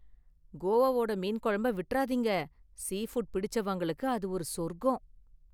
கோவாவோட மீன் குழம்ப விட்றாதீங்க, சீ ஃபுட் பிடிச்சவங்களுக்கு அது ஒரு சொர்க்கம்.